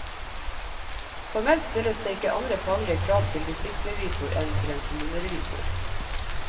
Formelt stilles det ikke andre faglige krav til distriktsrevisor enn til en kommunerevisor.